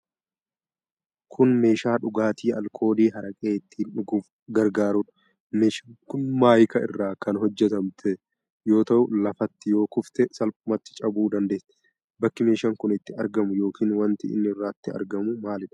Kun meeshaa dhugaatii alkoolii haraqee ittiin dhuguuf gargaarudha. Meeshaan kun maayikaa irraa kan hojjatamte yoo ta'u, lafatti yoo kufte salphumatti cabuu dandeessi. Bakki meeshaan kun itti argamu yookiin wanti inni irratti argamu maalidha?